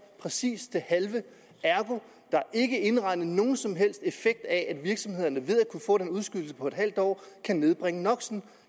præcis det halve ergo er ikke indregnet nogen som helst effekt af at virksomhederne ved at kunne få den udskydelse på et halvt år kan nedbringe no